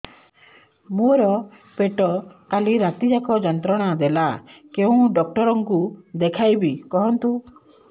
ମୋର ପେଟ କାଲି ରାତି ଯାକ ଯନ୍ତ୍ରଣା ଦେଲା କେଉଁ ଡକ୍ଟର ଙ୍କୁ ଦେଖାଇବି କୁହନ୍ତ